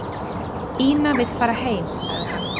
"""Ína vill fara heim, sagði hann."""